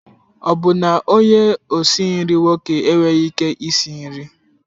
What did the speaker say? Ọ bụ na onye osi nri nwoke enweghị ike isi nri?